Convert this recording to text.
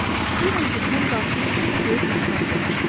İstəyirəm ki, sən qarşına çox böyük məqsəd qoyasan.